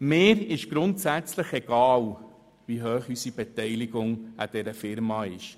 Mir ist es grundsätzlich egal, wie hoch unsere Beteiligung an dieser Firma ist.